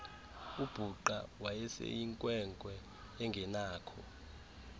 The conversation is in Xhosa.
ubhuqa wayeseyinkwenkwe engenakho